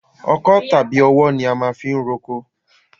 Ọkọ́ tàbí ọwọ́ ni wọ́n máa fi ń roko.